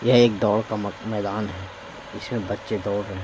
यह एक दौड़ का मैदान है इसमें बच्चे दौड़ रहे--